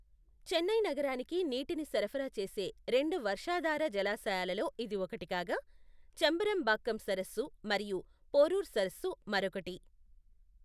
చెన్నై నగరానికి నీటిని సరఫరా చేసే రెండు వర్షాధార జలాశయాలలో ఇది ఒకటి కాగా, చెంబరంబాక్కం సరస్సు మరియు పోరూర్ సరస్సు మరొకటి.